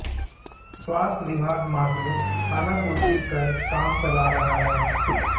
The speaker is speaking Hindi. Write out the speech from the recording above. स्वास्थ्य विभाग मात्र खानापूर्ति कर काम चला रहा है